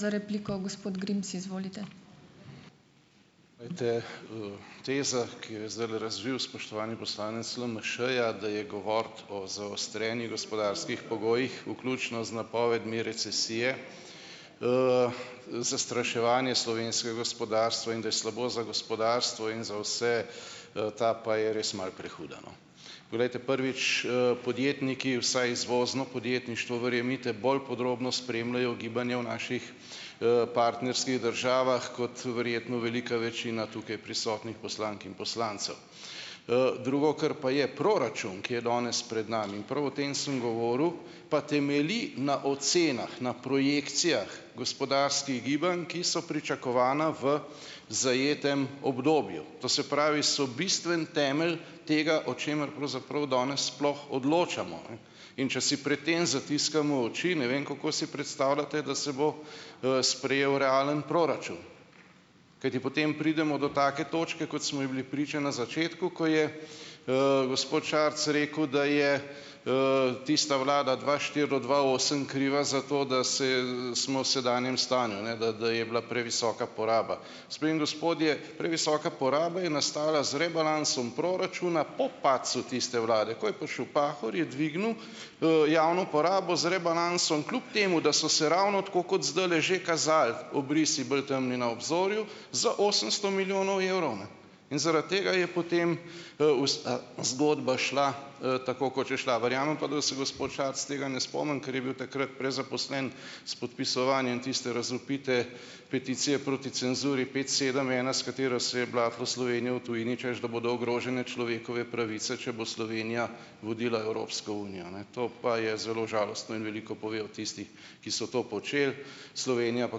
Glejte, teza, ki jo je zdajle razvil spoštovani poslanec LMŠ-ja, da je govoriti o zaostrenih gospodarskih pogojih, vključno z napovedmi recesije, zastraševanje slovenskega gospodarstva in da je slabo za gospodarstvo in za vse, ta pa je res malo prehuda, no. Poglejte, prvič, podjetniki, vsaj izvozno podjetništvo, verjemite, bolj podrobno spremljajo gibanje v naših, partnerskih državah kot verjetno velika večina tukaj prisotnih poslank in poslancev. drugo, kar pa je, proračun, ki je danes pred nami, in prav o tem sem govoril , pa temelji na ocenah, na projekcijah gospodarskih gibanj, ki so pričakovana v zajetem obdobju. To se pravi so bistven temelj tega, o čemer pravzaprav danes sploh odločamo, ne. In če si pred tem zatiskamo oči, ne vem, kako si predstavljate, da se bo, sprejel realen proračun. Kajti potem pridemo do take točke, kot smo ji bili priča na začetku, ko je, gospod Šarc rekel, da je, tista vlada dva štiri do dva osem kriva za to, da se, smo sedanjem stanju, ne, da, da je bila previsoka poraba. Gospe in gospodje, previsoka poraba je nastala z rebalansom proračuna po padcu tiste vlade, ko je prišel Pahor, je dvignil, javno porabo z rebalansom kljub temu, da so se ravno tako kot zdajle že kazali obrisi bolj temni na obzorju z osemsto milijonov evrov, ne. In zaradi tega je potem, zgodba šla, tako kot je šla. Verjamem pa, da se gospod Šarec tega ne spomni, ker je bil takrat prezaposlen s podpisovanjem tiste razvpite peticije proti cenzuri pet, sedem, ena, s katero se je blatilo Slovenijo tujini, češ da bodo ogrožene človekove pravice, če bo Slovenija vodila Evropsko unijo, ne. To pa je zelo žalostno in veliko pove o tistih, ki so to počeli, Slovenija pa,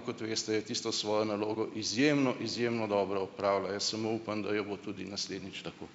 kot veste, je tisto svojo nalogo izjemno, izjemno dobro opravila. Jaz samo upam, da jo bo tudi naslednjič tako.